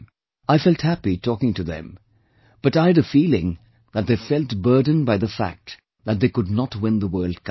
I felt happy talking to them, but I had a feeling that they felt burdened by the fact that they could not win the World Cup